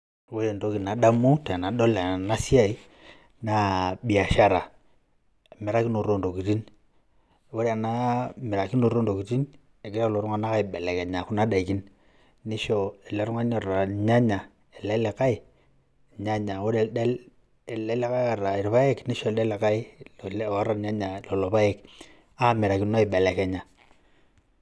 Ore entoki nadamu tenadol enasiai, naa biashara. Emirakinoto ontokiting'. Ore ena mirakinoto ontokiting',egira lelo tung'anak aibelekenya kuna daikin. Nisho ele tung'ani oota irnyanya, ele likae irnyanya. Ore ele likae oota irpaek, nisho ele likae ele oota irnyanya lelo paek. Amirakino aibelekenya.